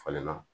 Falenna